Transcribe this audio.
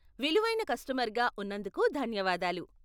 విలువైన కస్టమర్గా ఉన్నందుకు ధన్యవాదాలు.